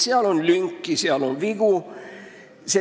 Seal on lünki ja vigu.